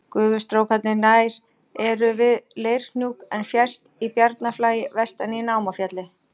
Gufustrókarnir nær eru við Leirhnjúk en fjærst í Bjarnarflagi vestan í Námafjalli.